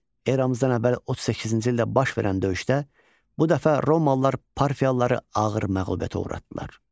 Eramızdan əvvəl 38-ci ildə baş verən döyüşdə bu dəfə romalılar parfiyalıları ağır məğlubiyyətə uğratdılar.